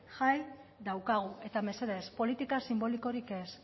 jai daukagu eta mesedez politikaz sinbolikorik ez